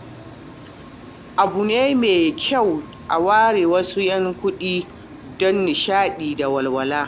Abu ne mai kyau a ware wasu 'yan kuɗi don nishaɗi da walwala.